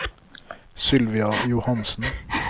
Sylvia Johansen